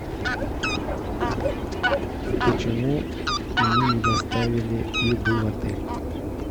почему мне не доставили еду в отель